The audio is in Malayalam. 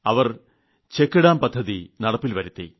അവർ ചെക്ക്ഡാം പദ്ധതി നടപ്പിൽവരുത്തി